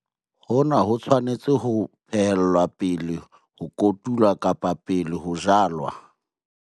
Hona ho tshwanetse ho phehellwa pele ho kotulwa kapa pele ho jalwa.